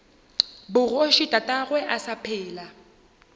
bogoši tatagwe a sa phela